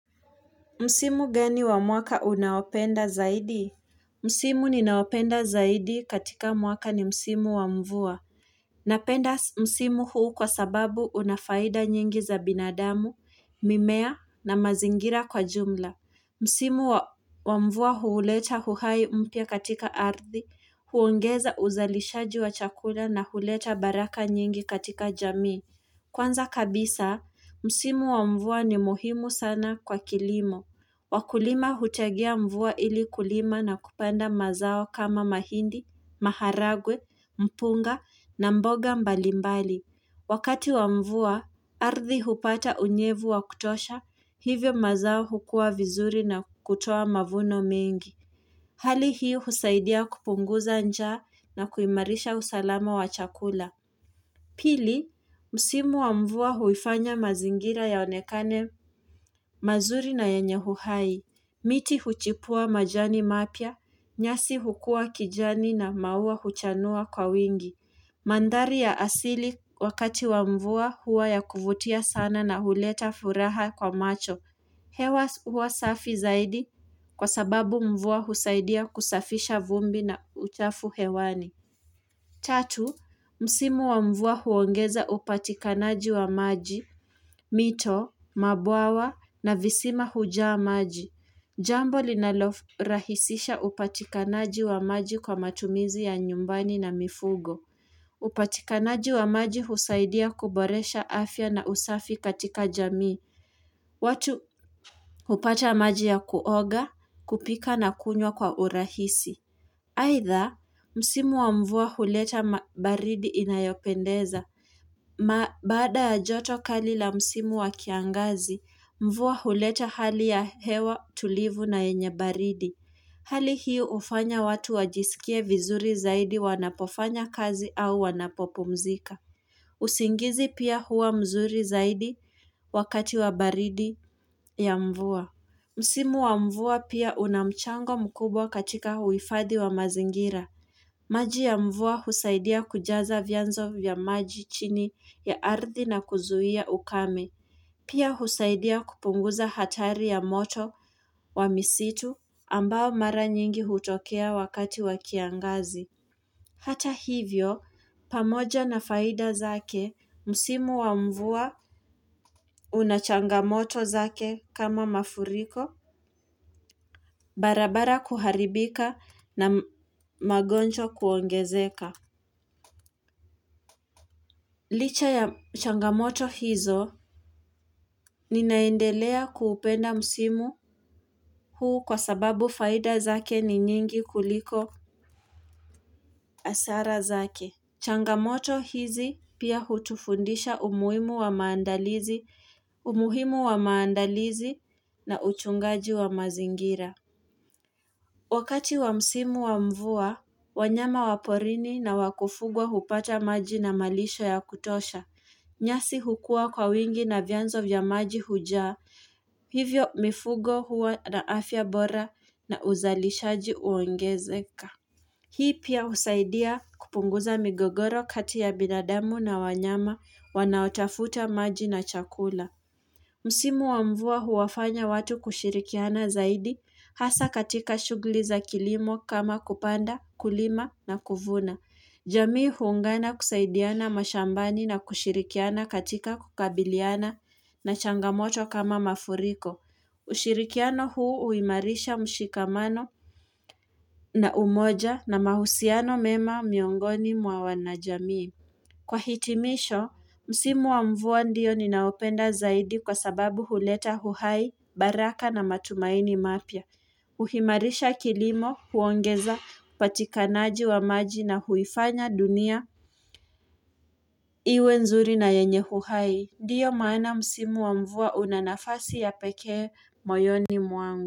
Msimu gani wa mwaka unaopenda zaidi? Msimu ninaopenda zaidi katika mwaka ni Msimu wa mvua. Napenda Msimu huu kwa sababu unafaida nyingi za binadamu, mimea na mazingira kwa jumla. Msimu wa mvua huuleta huhai mpya katika ardhi, huongeza uzalishaji wa chakula na huleta baraka nyingi katika jamii. Kwanza kabisa, Msimu wa mvua ni muhimu sana kwa kilimo. Wakulima hutegea mvua ili kulima na kupanda mazao kama mahindi, maharagwe, mpunga na mboga mbalimbali. Wakati wa mvua, ardhi hupata unyevu wa kutosha, hivyo mazao hukua vizuri na kutoa mavuno mengi. Hali hii husaidia kupunguza njaa na kuimarisha usalama wa chakula. Pili, msimu wa mvua huifanya mazingira yaonekane mazuri na yenyehuhai. Miti huchipua majani mapya, nyasi hukuwa kijani na maua huchanua kwa wingi. Mandhari ya asili wakati wa mvua hua ya kuvutia sana na huleta furaha kwa macho. Hewa huwa safi zaidi kwa sababu mvua husaidia kusafisha vumbi na uchafu hewani. Tatu, msimu wa mvua huongeza upatikanaji wa maji, mito, mabwawa na visima hujaa maji. Jambo linalo rahisisha upatikanaji wa maji kwa matumizi ya nyumbani na mifugo. Upatikanaji wa maji husaidia kuboresha afya na usafi katika jamii. Watu hupata maji ya kuoga, kupika na kunywa kwa urahisi. Aitdha, msimu wa mvua huleta baridi inayopendeza. Ma baada ya joto kali la msimu wa kiangazi, mvua huleta hali ya hewa tulivu na yenye baridi. Hali hii ufanya watu wajisikie vizuri zaidi wanapofanya kazi au wanapo pumzika. Usingizi pia huwa mzuri zaidi wakati wa baridi ya mvua. Msimu wa mvua pia unamchango mkubwa katika huifadhi wa mazingira. Maji ya mvua husaidia kujaza vyanzo vya maji chini ya ardhi na kuzuhia ukame. Pia husaidia kupunguza hatari ya moto wa misitu ambao mara nyingi hutokea wakati wa kiangazi. Hata hivyo pamoja na faida zake musimu wa mvua una changamoto zake kama mafuriko barabara kuharibika na magonjwa kuongezeka. Licha ya changamoto hizo ninaendelea kuupenda msimu huu kwa sababu faida zake ni nyingi kuliko hasara zake. Changamoto hizi pia hutufundisha umuhimu wa maandalizi na utungaji wa mazingira. Wakati wa msimu wa mvua, wanyama wa porini na wa kufugwa hupata maji na malisho ya kutosha. Nyasi hukua kwa wingi na vyanzo vya maji hujaa. Hivyo mifugo huwa na afya bora na uzalishaji uongezeka. Hii pia usaidia kupunguza migogoro kati ya binadamu na wanyama wanaotafuta maji na chakula. Msimu wa mvua huwafanya watu kushirikiana zaidi hasa katika shugli za kilimo kama kupanda kulima na kuvuna. Jamii huungana kusaidiana mashambani na kushirikiana katika kukabiliana na changamoto kama mafuriko. Ushirikiano huu uimarisha mshikamano na umoja na mahusiano mema miongoni mwa wana jamii. Kwa hitimisho, msimu wa mvua ndiyo ninaopenda zaidi kwa sababu huleta huhai, baraka na matumaini mapya. Uhimarisha kilimo huongeza patikanaji wa maji na huifanya dunia Iwe nzuri na yenye huhai Ndiyo maana msimu wa mvua unanafasi ya pekee moyoni mwangu.